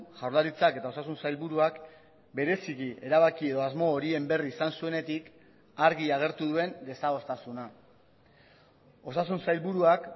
jaurlaritzak eta osasun sailburuak bereziki erabaki edo asmo horien berri izan zuenetik argi agertu duen desadostasuna osasun sailburuak